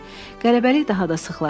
Qələbəlik daha da sıxlaşdı.